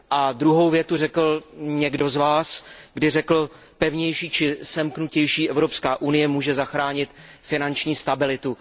A druhou větu řekl někdo z vás, když řekl, že pevnější či semknutější Evropská unie může zachránit finanční stabilitu.